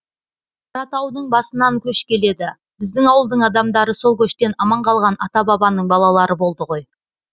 қаратаудың басынан көш келеді біздің ауылдың адамдары сол көштен аман қалған ата бабаның балалары болды ғой